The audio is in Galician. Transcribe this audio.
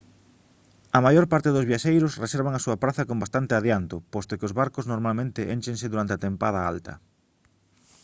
a maior parte dos viaxeiros reservan a súa praza con bastante adianto posto que os barcos normalmente énchense durante a tempada alta